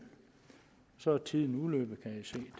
så er tiden